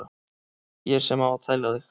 Ég sem á að tæla þig.